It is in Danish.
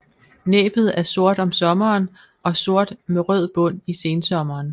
Næbbet er sort om sommeren og sort med rød bund i sensommeren